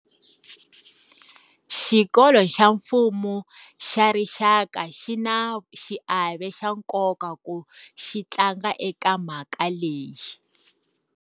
Xikolo xa Mfumo xa Rixaka xi na xiave xa nkoka ku xi tlanga eka mhaka leyi.